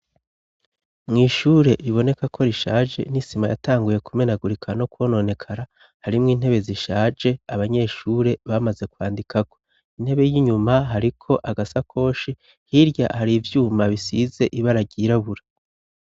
Mw'ishure riboneka ko rishaje nisima yatanguye kumenagurika no kubononekara harimwo intebe zishaje abanyeshure bamaze kwandikako intebe y'inyuma hariko agasa koshi hirya hari ivyuma bisize ibararyirabura.